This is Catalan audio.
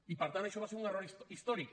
i per tant això va ser un error històric